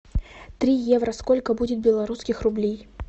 три евро сколько будет белорусских рублей